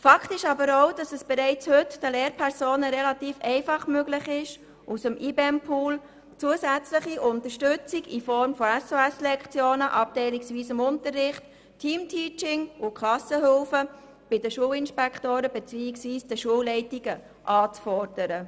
Eine Tatsache ist aber auch, dass es bereits heute den Lehrpersonen relativ einfach möglich ist, aus dem IBEM-Pool zusätzliche Unterstützung in Form von SOS-Lektionen, abteilungsweisem Unterricht, Teamteaching und Klassenhilfen bei den Schulinspektoren beziehungsweise bei den Schulleitungen anzufordern.